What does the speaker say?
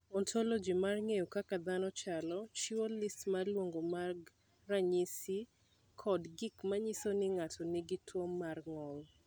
"Ontoloji mar ng’eyo kaka dhano chalo, chiwo list ma luwogi mag ranyisi kod gik ma nyiso ni ng’ato nigi tuwo mar ng’ol."